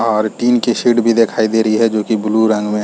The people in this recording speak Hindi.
और टीन की शीट भी दिखाई दे रही है जो ब्लू रंग मैं--